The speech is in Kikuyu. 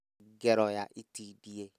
Ngero ya itindiĩ